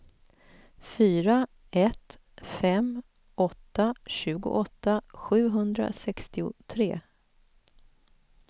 fyra ett fem åtta tjugoåtta sjuhundrasextiotre